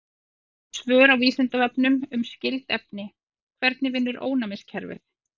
Önnur svör á Vísindavefnum um skyld efni: Hvernig vinnur ónæmiskerfið?